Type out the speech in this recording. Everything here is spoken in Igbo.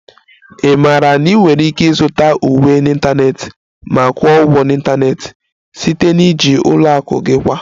Ị maara na ị nwere ike ịzụta uwe n'ịntanetị ma kwụọ ụgwọ n'ịntanetị site na iji ụlọ akụ gị kwa